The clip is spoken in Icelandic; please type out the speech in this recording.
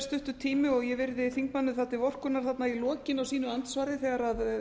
stuttur tími og ég virði þingmanninum það til vorkunnar þarna í lokin á sínu andsvari